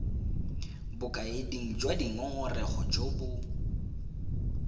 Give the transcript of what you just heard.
bokaeding jwa dingongorego jo bo